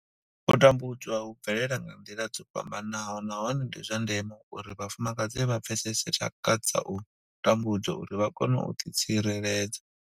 U tambudzwa hu bvelela nga nḓila dzo fhambanaho nahone ndi zwa ndeme uri vhafumakadzi vha pfesese tshaka dza u tambudzwa uri vha kone u ḓitsireledza.